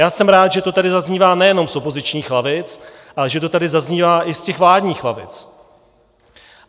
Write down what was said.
Já jsem rád, že to tady zaznívá nejenom z opozičních lavic, ale že to tady zaznívá i z těch vládních lavic.